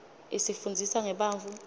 isifunndzisa ngebantfu